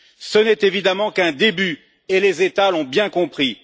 Ce n'est évidemment qu'un début et les États l'ont bien compris